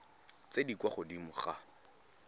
tse di kwa godimo ga